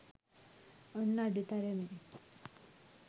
ඔන්න අඩු තරමේ